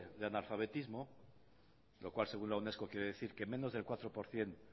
de analfabetismo lo cual según la unesco quiere decir que menos del cuatro por ciento